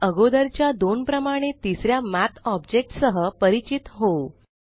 आता अगोदरच्या दोन प्रमाणे तिसऱ्या मठ ऑब्जेक्ट सह परिचित होऊ